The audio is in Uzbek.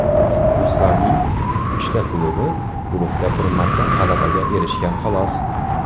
Ruslarning uchta klubi guruhda bir marta g‘alabaga erishgan, xolos.